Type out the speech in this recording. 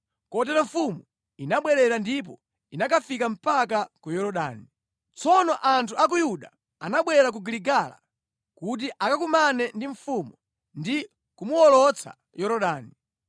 Kotero mfumu inabwerera ndipo inakafika mpaka ku Yorodani. Tsono anthu a ku Yuda anabwera ku Giligala kuti akakumane ndi mfumu ndi kumuwolotsa Yorodani.